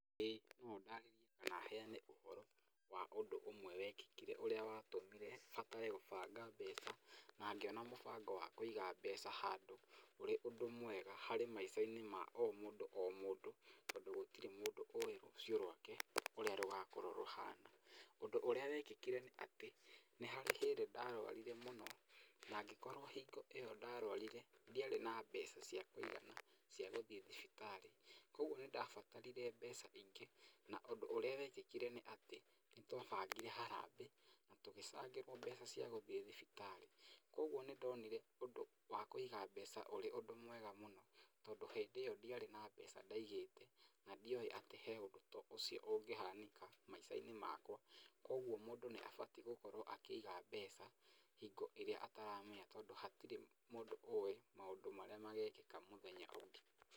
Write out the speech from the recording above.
Ĩĩ no ndarĩrie kana heane ũhoro wa ũndũ wekĩkire ũrĩa watũmire batare gũbanga mbeca na ngĩona mũbango wa kũiga mbeca handũ ũrĩ ũndũ mwega harĩ maica-inĩ na o mũndũ o mũndũ, tondũ gũtirĩ mũndũ ũũĩ rũciũ rwake ũrĩa rũgakorwo rũhana. Ũndũ ũrĩa wekĩkire nĩ atĩ nĩ harĩ hĩndĩ ndarũarire mũno na ngĩkorwo hingo ĩyo ndarũarire ndiarĩ na mbeca cia kũigana cia gũthiĩ thibitarĩ. Kwoguo nĩ ndabatarire mbeca ingĩ na ũndũ ũrĩa wekĩkire nĩ atĩ nĩ twabangire harambee na tũgĩcangĩrwo mbeca cia gũthiĩ thibitarĩ. Kwoguo nĩ ndonire ũndũ wa kũiga mbeca ũrĩ ũndũ mwega mũno tondũ hĩndĩ ĩyo ndiarĩ na mbeca ndaigĩte, na ndioĩ atĩ harĩ ũndũ ta ũcio ũngĩhanĩka maica-inĩ makwa. Kwoguo mũndũ nĩ abatiĩ gũkorwo akĩiga mbeca hingo ĩrĩa ataramenya tondũ hatirĩ mũndũ ũũĩ maũndũ marĩa magekĩka mũthenya ũngĩ.